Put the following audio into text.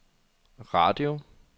radio